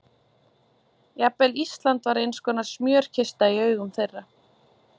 Jafnvel Ísland var einskonar smjörkista í augum þeirra.